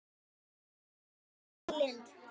Þín systir, Signý Lind.